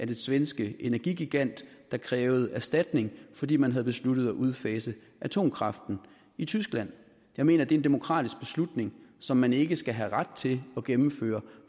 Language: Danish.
den svenske energigigant krævede erstatning fordi man havde besluttet at udfase atomkraften i tyskland jeg mener det er en demokratisk beslutning som man ikke skal have ret til at gennemføre